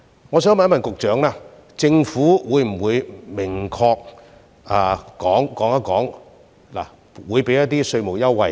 我想問局長，政府會否明確說出會提供稅務優惠呢？